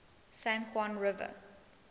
san juan river